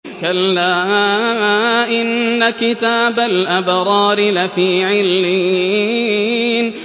كَلَّا إِنَّ كِتَابَ الْأَبْرَارِ لَفِي عِلِّيِّينَ